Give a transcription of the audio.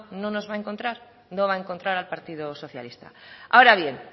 no nos va a encontrar no va a encontrar al partido socialista ahora bien